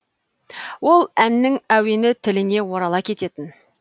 ол әннің әуені тіліңе орала кететін